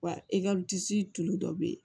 Wa i ka disi tulu dɔ bɛ yen